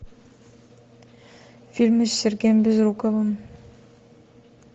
фильмы с сергеем безруковым